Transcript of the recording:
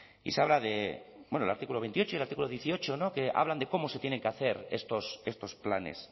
y se habla del artículo veintiocho y del artículo dieciocho que hablan de cómo se tienen que hacer estos planes